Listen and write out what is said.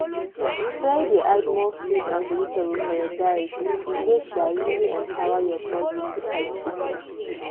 try dey add more fruit and vegetable for your diet e dey um really empower your body to fight sickness.